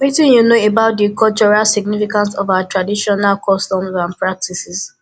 wetin you know about di cultural significance of our traditional customs and practices